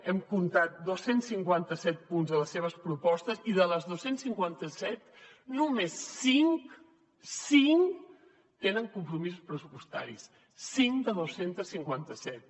hem comptat dos cents i cinquanta set punts a les seves propostes i dels dos cents i cinquanta set només cinc cinc tenen compromisos pressupostaris cinc de dos cents i cinquanta set